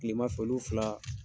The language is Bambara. Kilemafɛ olu fila